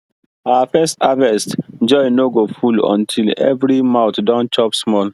our first harvest joy no go full until every mouth don chop small